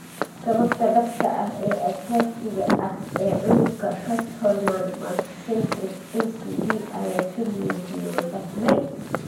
Sababta dhabta ah ee asaasiga ah ee cudurka 'Castleman multicentric' (MCD) ayaa si liidata loo fahmay.